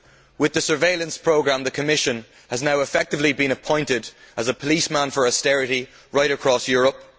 With the surveillance programme, the Commission has now effectively been appointed as a policeman for austerity right across Europe.